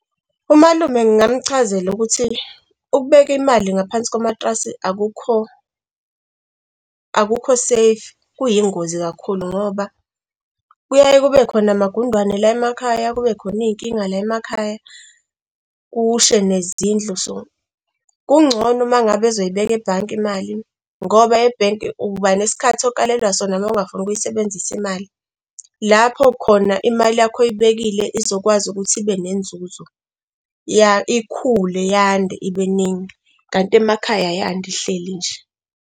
Umalume ngingamchazela ukuthi ukubeka imali ngaphansi komatilasi akukho safe. Kuyingozi kakhulu ngoba kuyaye kube khona amagundane la emakhaya, kube khona iy'nkinga la emakhaya, kushe nezindlu, so kungcono uma ngabe ezoyibeka ebhange imali, ngoba e-bank-i uba nesikhathi okalelwa sona uma ungafuni ukuyisebenzisa imali. Lapho khona imali yakho oyibekile izokwazi ukuthi ibe nenzuzo, ya ikhule iyande, ibe ningi kanti emakhaya ay'yandi ihleli nje.